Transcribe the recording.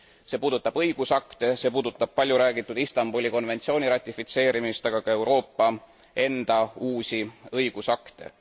See puudutab õigusakte, see puudutab palju räägitud Istanbuli konventsiooni ratifitseerimist, aga ka Euroopa enda uusi õigusakte.